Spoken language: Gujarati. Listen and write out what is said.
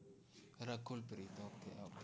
રકુલ પ્રીત